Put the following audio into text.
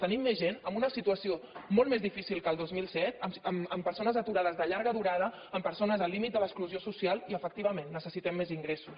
tenim més gent en una situació molt més difícil que el dos mil set amb persones aturades de llarga durada amb persones al límit de l’exclusió social i efectivament necessitem més ingressos